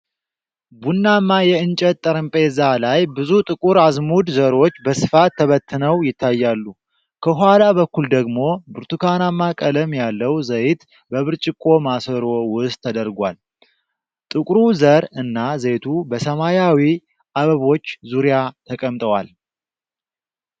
ቡናማ የእንጨት ጠረጴዛ ላይ ብዙ ጥቁር አዝሙድ ዘሮች በስፋት ተበትነው ይታያሉ። ከኋላ በኩል ደግሞ ብርቱካናማ ቀለም ያለው ዘይት በብርጭቆ ማሰሮ ውስጥ ተደርጓል። ጥቁሩ ዘር እና ዘይቱ በሰማያዊ አበቦች ዙሪያ ተቀምጠዋል።